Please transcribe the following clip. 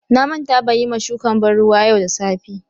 Na manta ban Yi ma shukan banruwa yau da safe.